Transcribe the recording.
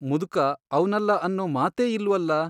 ಮುದುಕ ಅವ್ನಲ್ಲಾ ಅನ್ನೋ ಮಾತೇ ಇಲ್ವಲ್ಲಾ ?